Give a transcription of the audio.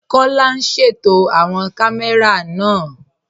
Kọla n ṣétò awọn kàmẹ̀rà náà